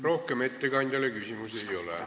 Rohkem ettekandjale küsimusi ei ole.